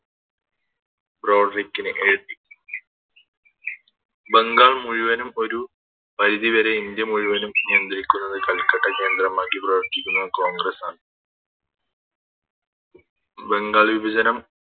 ബ്രോഡ്‌റിക്കിന് എഴുതി ബംഗാൾ മുഴുവനും ഒരു പരിധിവരെ ഇന്ത്യ മുഴുവനും നിയന്ത്രിക്കുന്നത് കൽക്കട്ട കേന്ദ്രമാക്കി പ്രവർത്തിക്കുന്ന കോൺഗ്രസാണ് ബംഗാൾ വിഭജനം